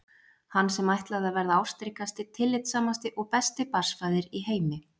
Hann sem ætlaði að verða ástríkasti, tillitssamasti og besti barnsfaðir í heimi!